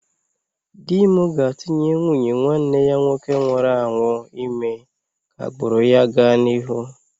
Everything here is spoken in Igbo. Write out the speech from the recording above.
Di m ga-atụnye nwunye nwanne ya nwoke nwụrụ anwụ ime ka agbụrụ ya gaa n'ihu